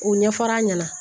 U ɲɛ fɔr'a ɲɛna